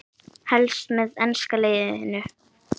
Helst með enska liðinu.